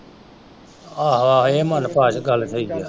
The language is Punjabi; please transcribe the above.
ਆਹੋ ਆਹੋ ਇਹ ਮਨਭਾਜ ਗੱਲ ਸਹੀ ਆ।